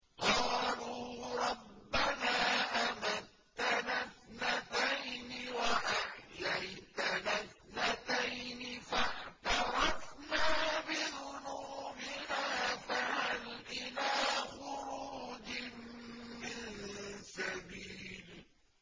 قَالُوا رَبَّنَا أَمَتَّنَا اثْنَتَيْنِ وَأَحْيَيْتَنَا اثْنَتَيْنِ فَاعْتَرَفْنَا بِذُنُوبِنَا فَهَلْ إِلَىٰ خُرُوجٍ مِّن سَبِيلٍ